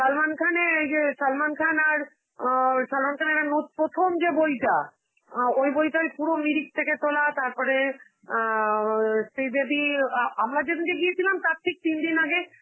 সালমান খানের অ ওই যে~ সালমান খান আর আ সালমান খানের ন~ প্রথম যে বইটা, অ্যাঁ ওই বইটাই পুরো মিরিক থেকে তোলা, তারপরে অ্যাঁ ও শ্রীদেবীর আ~ আমরা যেদিনকে গিয়েছিলে, তার ঠিক তিন দিন আগে